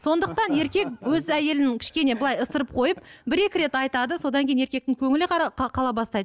сондықтан еркек өз әйелін кішкене былай ысырып қойып бір екі рет айтады содан кейін еркектің көңілі қара қала бастайды